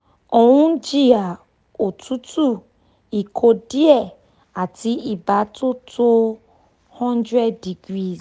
ó ń jìyà otutu ikọ́ díẹ̀ àti ibà tó tó hundred degrees